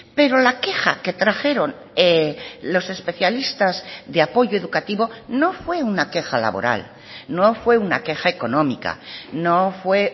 pero la queja que trajeron los especialistas de apoyo educativo no fue una queja laboral no fue una queja económica no fue